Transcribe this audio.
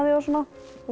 svo